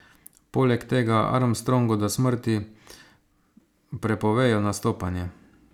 Poleg tega Armstrongu do smrti prepovejo nastopanje.